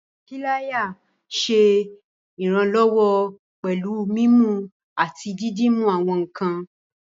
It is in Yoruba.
Píláyà nṣé iranlọwọ pẹ̀lú mímú àti dídúmú àwọn nkàn.